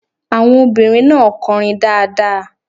Àwọn obìnrin náà kọrin dáadáa.